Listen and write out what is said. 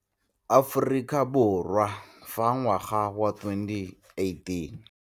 Aforika Borwa fa ngwaga wa 2018.